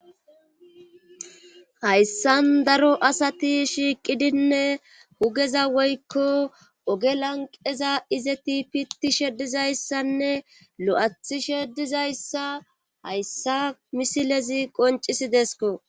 hayssan daro asati shiiqidinne hugeza woykko oge lanqeza izeti pitti sheddizayssanne lo7athi sheddizayssa hayssa misilezi qoncisidesko